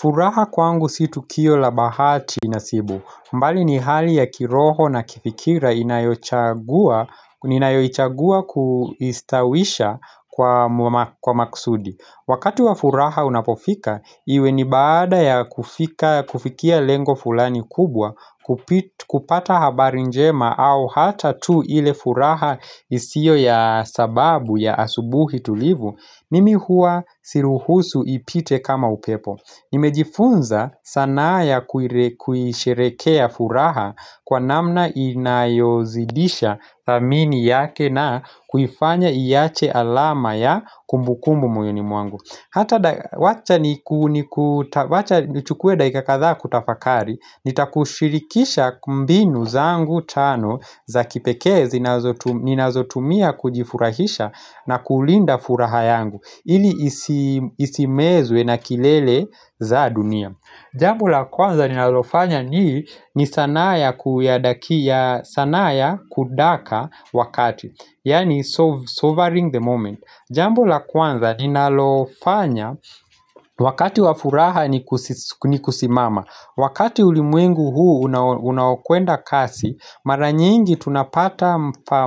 Furaha kwangu si tukio la bahati nasibu. Mbali ni hali ya kiroho na kifikira ninayoichagua kuistawisha kwa makusudi. Wakati wa furaha unapofika, iwe ni baada ya kufikia lengo fulani kubwa, kupata habari njema au hata tu ile furaha isio ya sababu ya asubuhi tulivu, mimi hua siruhusu ipite kama upepo. Nimejifunza sanaa ya kuhisherehekea furaha kwa namna inayozidisha thamini yake na kuifanya iache alama ya kumbukumbu moyoni mwangu Hata wacha nichukue dakika kadhaa kutafakari Nitakushirikisha mbinu zangu tano za kipekee ninazotumia kujifurahisha na kulinda furaha yangu ili isimezwe na kelele za dunia Jambo la kwanza ninalofanya ni sanaa ya kudaka wakati Yaani seizing the moment Jambu la kwanza ninalofanya wakati wa furaha ni kusimama Wakati ulimwengu huu unaokwenda kasi Mara nyingi tunapata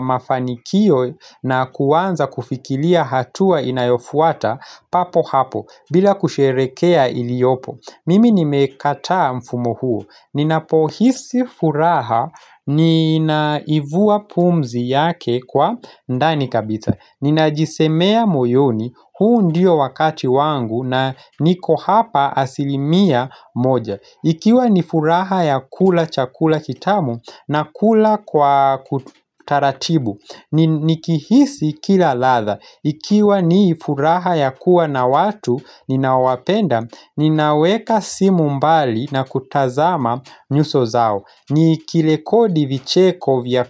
mafanikio na kuanza kufikilia hatua inayofuata papo hapo bila kusherekea iliopo Mimi nimekataa mfumo huo Ninapohisi furaha ninaivua pumzi yake kwa ndani kabisa Ninajisemea moyoni huu ndio wakati wangu na niko hapa asilimia moja Ikiwa ni furaha ya kula chakula kitamu na kula kwa kutaratibu Nikihisi kila latha Ikiwa ni furaha ya kuwa na watu ninaowapenda Ninaweka simu mbali na kutazama nyuso zao Nikirekodi vicheko vya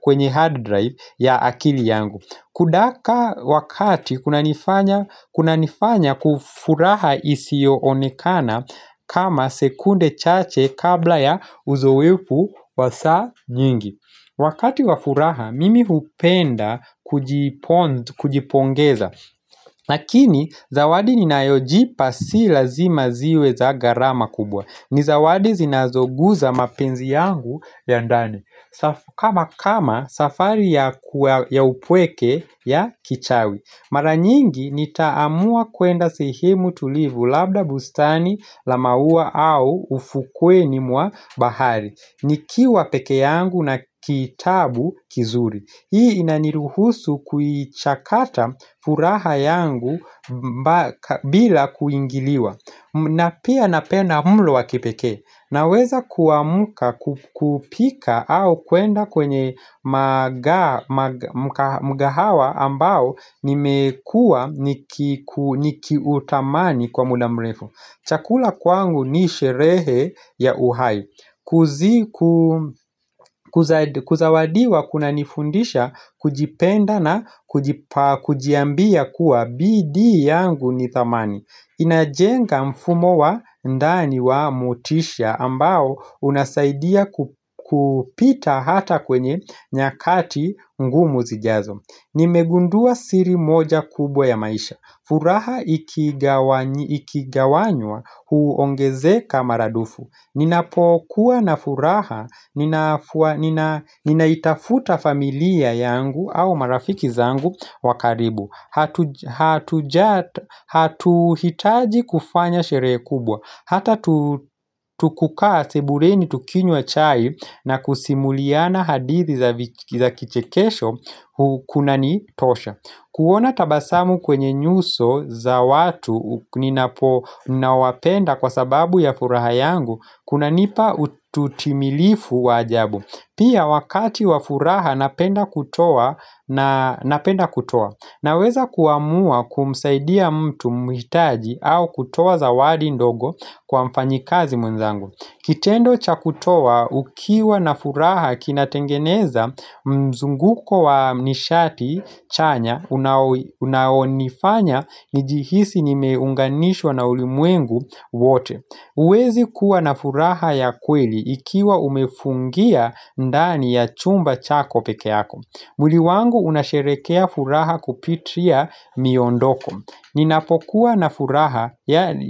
kwenye hard drive ya akili yangu Kudaka wakati kunanifanya furaha isiyoonekana kama sekunde chache kabla ya uzoefu wa saa nyingi Wakati wa furaha, mimi hupenda kujipongeza lakini, zawadi ninayojipa si lazima ziwe za gharama kubwa ni zawadi zinazoguza mapenzi yangu ya ndani kama safari ya upweke ya kichawi Mara nyingi nitaamua kwenda sehemu tulivu labda bustani la mauwa au ufukweni mwa bahari Nikiwa pekee yangu na kitabu kizuri Hii inaniruhusu kuichakata furaha yangu bila kuingiliwa na pia napenda mlo wa kipekee Naweza kuamuka kupika au kwenda kwenye mkahawa ambao nimekua nikiutamani kwa muda mrefu. Chakula kwangu ni sherehe ya uhai. Kuzawadiwa kunanifundisha, kujipenda na kujiambia kuwa bidii yangu ni thamani. Inajenga mfumo wa ndani wa motisha ambao unasaidia kupita hata kwenye nyakati ngumu zijazo Nimegundua siri moja kubwa ya maisha furaha ikigawanywa huongezeka mara dufu Ninapokuwa na furaha, ninaitafuta familia yangu au marafiki zangu wakaribu Hatuhitaji kufanya sherehe kubwa Hata tu kukaa sebueni tukinywa achai na kusimuliana hadithi za kichekesho Kunanitosha kuona tabasamu kwenye nyuso za watu ninaowapenda kwa sababu ya furaha yangu kunanipa utimilifu wa ajabu Pia wakati wa furaha napenda kutoa Naweza kuamua kumsaidia mtu mwitaji au kutoa zawadi ndogo kwa mfanyikazi mwenzangu Kitendo cha kutoa ukiwa na furaha kinatengeneza mzunguko wa nishati chanya unaonifanya nijihisi nimeunganishwa na ulimwengu wote huwezi kuwa na furaha ya kweli Ikiwa umefungia ndani ya chumba chako peke yako mwili wangu unasherehekea furaha kupitia miondoko. Ninafokuwa na furaha, yaani.